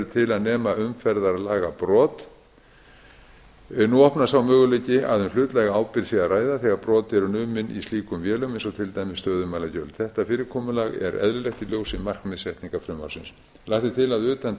til að nema umferðarlagabrot nú opnast sá möguleiki að um hlutlæga ábyrgð sé að ræða þegar brot eru numin í slíkum vélum eins og til dæmis stöðumælagjöld þetta fyrirkomulag er eðlilegt í ljósi markmiðssetningar frumvarpsins lagt er til að utan